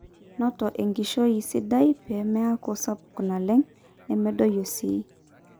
noto enkiroshi sidai pee meeku sapuk naleng nemedoyio sii